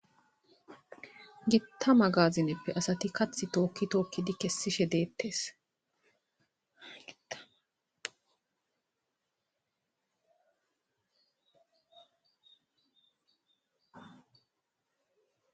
gittama gaazineppe asati kath tookki tookkidi kessishe deettesgiaa